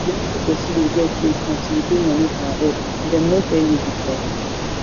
you no suppose see the girl face until you pay money for her head dem no tell you before